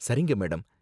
சரிங்க, மேடம்.